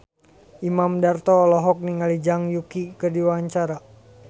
Imam Darto olohok ningali Zhang Yuqi keur diwawancara